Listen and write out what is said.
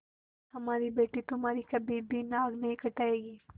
हमारी बेटी तुम्हारी कभी भी नाक नहीं कटायेगी